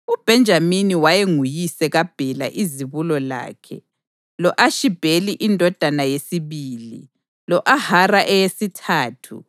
UBhenjamini wayenguyise kaBhela izibulo lakhe, lo-Ashibheli indodana yesibili, lo-Ahara eyesithathu,